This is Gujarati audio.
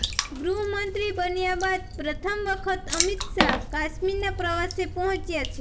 ગૃહમંત્રી બન્યા બાદ પ્રથમ વખત અમિત શાહ કાશ્મીરના પ્રવાસે પહોંચ્યા છે